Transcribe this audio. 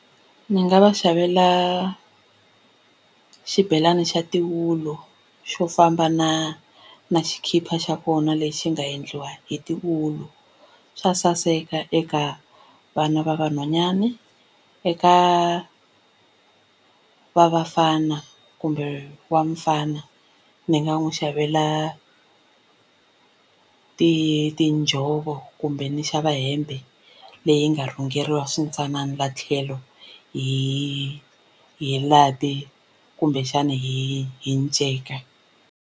Ndzi nga va xavela xibelani xa tiwulu xo famba na na xikipa xa kona lexi nga endliwa hi tiwulu xa saseka eka vana va vanhwanyani eka va vafana kumbe wa mufana ni nga n'wi xavela ti tinjhovo kumbe ni xava hembe leyi nga rhungeriwa swintsanana la tlhelo hi hi lapi kumbexana hi hi nceka.